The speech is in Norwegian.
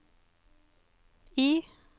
I